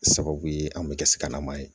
Sababu ye an bɛ kɛ sikanama ye